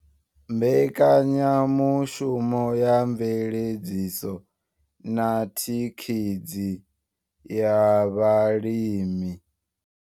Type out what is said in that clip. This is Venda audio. Mbekanyamushumo ya mveledziso na thikhedzi ya vhalimi.